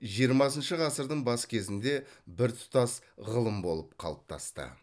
жиырмасыншы ғасырдың бас кезінде біртұтас ғылым болып қалыптасты